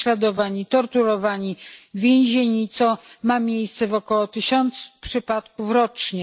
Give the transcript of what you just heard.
Są prześladowani, torturowani, więzieni, co ma miejsce w około tysiącu przypadków rocznie.